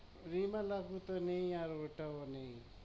রিমা লাগু তো নেই আর ওটাও নেই